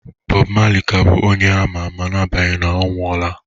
Bob Marley ka bụ onye a ma ama n'agbanyeghị na ọ nwụọla